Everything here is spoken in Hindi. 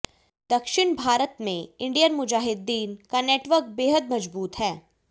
दक्षिण भारत में इंडियन मुजाहिदीन का नेटवर्क बेहद मजबूत है